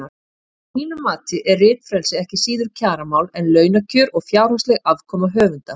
Að mínu mati er ritfrelsi ekki síður kjaramál en launakjör og fjárhagsleg afkoma höfunda.